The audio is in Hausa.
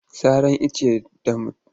Saran icce da mutum bisa.